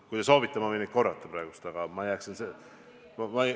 Kui te soovite, ma võin neid korrata, aga jääksin ...